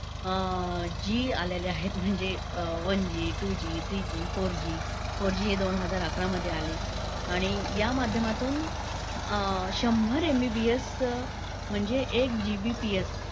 अं G आलेले आहेत, म्हणजे one G two G three G four G. Four G हे दोन हजार अकरामध्ये आले आणि यामाध्यमातून शंभर MBPS चं म्हणजे एक GBPS